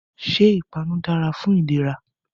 Ṣé Ìpanu dára fún ìlera